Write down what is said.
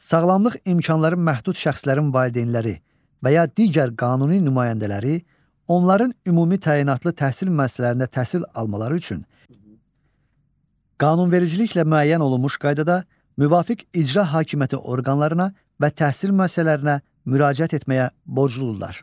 Sağlamlıq imkanları məhdud şəxslərin valideynləri və ya digər qanuni nümayəndələri onların ümumi təyinatlı təhsil müəssisələrinə təhsil almaları üçün qanunvericiliklə müəyyən olunmuş qaydada müvafiq icra hakimiyyəti orqanlarına və təhsil müəssisələrinə müraciət etməyə borcludurlar.